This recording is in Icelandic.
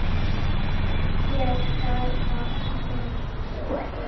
Ég bara vinn hér.